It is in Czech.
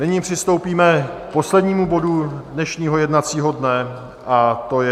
Nyní přistoupíme k poslednímu bodu dnešního jednacího dne, a to je